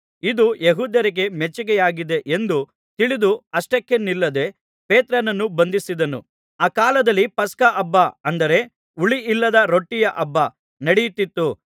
ಇದು ಯೆಹೂದ್ಯರಿಗೆ ಮೆಚ್ಚಿಕೆಯಾಗಿದೆ ಎಂದು ತಿಳಿದು ಅಷ್ಟಕ್ಕೆ ನಿಲ್ಲದೆ ಪೇತ್ರನನ್ನೂ ಬಂಧಿಸಿದನು ಆ ಕಾಲದಲ್ಲಿ ಪಸ್ಕಹಬ್ಬ ಅಂದರೆ ಹುಳಿಯಿಲ್ಲದ ರೊಟ್ಟಿಯ ಹಬ್ಬ ನಡೆಯುತ್ತಿತ್ತು